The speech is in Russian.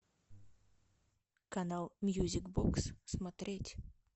канал мьюзик бокс смотреть